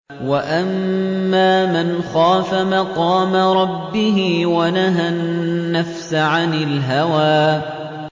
وَأَمَّا مَنْ خَافَ مَقَامَ رَبِّهِ وَنَهَى النَّفْسَ عَنِ الْهَوَىٰ